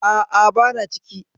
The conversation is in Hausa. A'a, bana ciki.